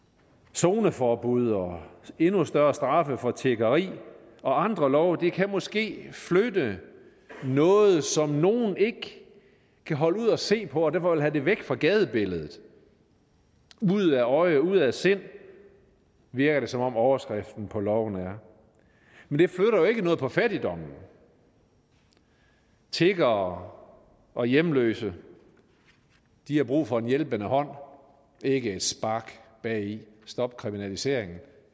zoneforbud og endnu større straffe for tiggeri og andre love kan måske flytte noget som nogle ikke kan holde ud at se på og derfor vil have det væk fra gadebilledet ude af øje ude af sind virker det som om overskriften på loven er men det flytter jo ikke noget for fattigdommen tiggere og hjemløse har brug for en hjælpende hånd ikke et spark bagi stop kriminaliseringen